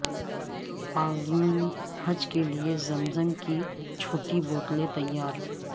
عازمین حج کے لیے زمزم کی چھوٹی بوتلیں تیار